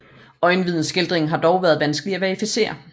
Øjenvidneskildringerne har dog været vanskelige at verificere